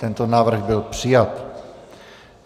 Tento návrh byl přijat.